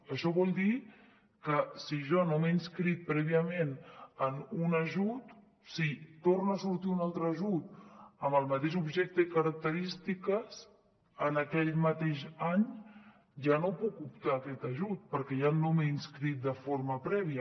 això vol dir que si jo no m’he inscrit prèviament en un ajut si torna a sortir un altre ajut amb el mateix objecte i característiques en aquell mateix any ja no puc optar a aquest ajut perquè ja no m’hi he inscrit de forma prèvia